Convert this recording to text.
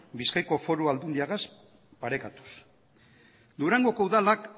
bizkaiko aldundiagaz parekatuz durangoko udalak